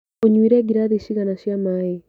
ũnyuire ngirathi cigana cia maĩ?